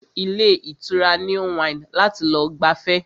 A lọ sí ilé ìtura New Wine láti lọ gbafẹ́